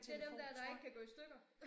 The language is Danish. Det dem dér der ikke kan gå i stykker